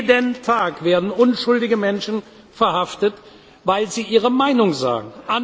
Jeden Tag werden unschuldige Menschen verhaftet, weil sie ihre Meinung sagen.